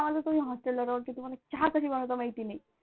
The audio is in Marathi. काय कामाचे तुम्ही होस्टेलवर राहून की तुम्हाला चहा सुद्धा बनवायचा माहिती नाही.